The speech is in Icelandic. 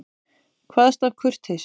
Kvaðst af kurteisi.